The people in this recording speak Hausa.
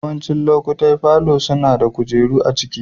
Yawancin lokatai falo suna da kujeru a cikin.